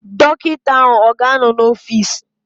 Dọkịta ahụ ọ ga-anọ n'ọfịs?